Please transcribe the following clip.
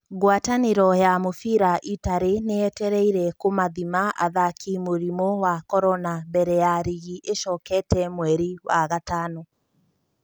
Ngwatanĩro ya mũbira Itarĩ nĩ yetereire kũmathima athaki mũrimũ wa Korona mbere ya rigi ĩcokete mweri wa gatano